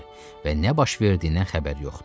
Və nə baş verdiyindən xəbəri yoxdu.